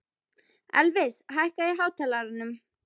Elvis, hækkaðu í hátalaranum.